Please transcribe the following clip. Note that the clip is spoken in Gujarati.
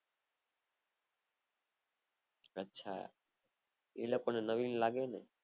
અચ્છા એ લોકો ને નવીન લાગે ને